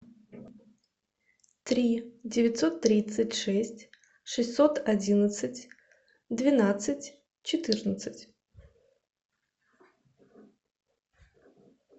три девятьсот тридцать шесть шестьсот одиннадцать двенадцать четырнадцать